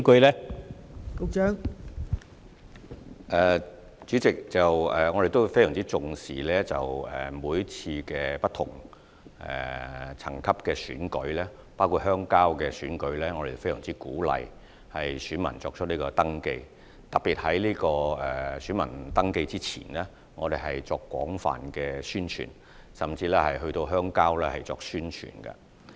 代理主席，我們非常重視不同層級的鄉郊選舉，包括鄉郊代表選舉，亦非常鼓勵合資格人士登記為選民，特別是在選民登記之前，我們會進行廣泛的宣傳，甚至到鄉郊進行宣傳。